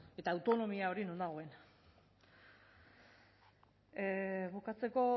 eta autonomia hori non dagoen bukatzeko